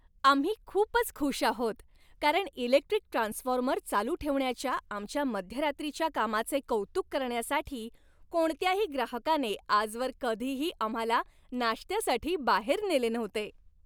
आम्ही खूपच खुश आहोत, कारण इलेक्ट्रिक ट्रान्सफॉर्मर चालू ठेवण्याच्या आमच्या मध्यरात्रीच्या कामाचे कौतुक करण्यासाठी कोणत्याही ग्राहकाने आजवर कधीही आम्हाला नाश्त्यासाठी बाहेर नेले नव्हते.